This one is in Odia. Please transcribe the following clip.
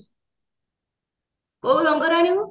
କୋଉ ରଙ୍ଗର ଆଣିବୁ